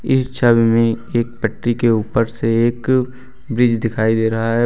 इस छवि में एक पट्टरी के ऊपर से एक ब्रिज दिखाई दे रहा है।